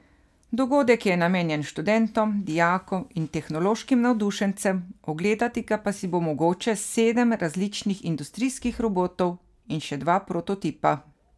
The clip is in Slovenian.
Dogodek je namenjen študentom, dijakom in tehnološkim navdušencem, ogledati pa si bo mogoče sedem različnih industrijskih robotov in še dva prototipa.